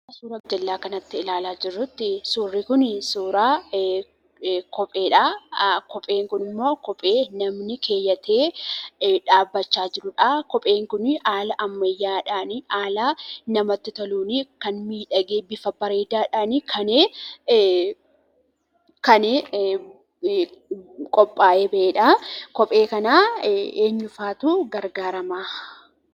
Suuraa gajjalla kanatti ilaalaa jirrutti suurri kuni suuraa kopheedha. Kopheen kuniimmo kophee namni keewwate dhabbachaa jirudha. Kopheen kun haala ammayyaadhan haala namatti toluun kan miidhagee bifa bareedadhan kan qopha'ee ba'edha. Kophee kana eenyuufatu gargaraama?